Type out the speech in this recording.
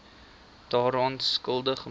daaraan skuldig maak